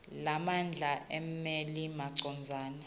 lemandla emmeli macondzana